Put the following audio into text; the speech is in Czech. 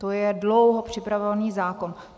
To je dlouho připravovaný zákon.